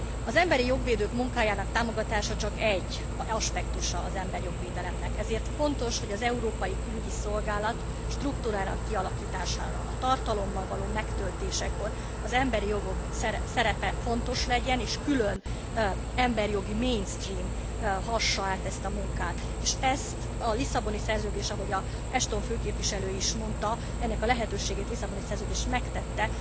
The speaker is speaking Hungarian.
Az emberijog védők munkájának támogatása csak egy aspektusa az emberijog védelemnek, ezért fontos, hogy az Európai Külügyi Szolgálat struktúrának a tartalommal való megtöltésekor az emberi jogok szerepe fontos legyen, és külön emberjogi mainstream hassa át ezt a munkát, és ezt a Lisszaboni Szerződés, ahogy azt Ashton képviselő is mondta, ennek a lehetőségét Lisszaboni Szerződés megtette.